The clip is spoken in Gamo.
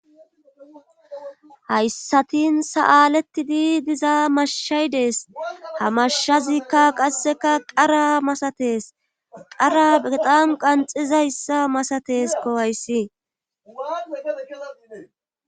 hayssatin sa7aalettidi diza mashshaydees ha mashshazikka qasseka qara masatees qara beqan qanxizayssa masates kohayssi